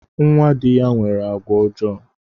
Nnwa dị ya nwere àgwà ọjọọ